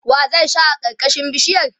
wa zai share karkashin bishiyar?